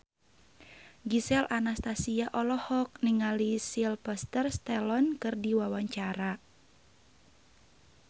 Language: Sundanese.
Gisel Anastasia olohok ningali Sylvester Stallone keur diwawancara